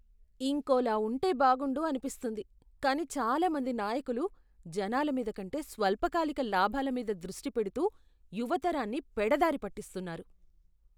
ఇంకోలా ఉంటే బాగుండు అనిపిస్తుంది, కాని చాలా మంది నాయకులు జనాల మీద కంటే స్వల్పకాలిక లాభాల మీద దృష్టి పెడుతూ యువ తరాన్నిపెడదారి పట్టిస్తున్నారు.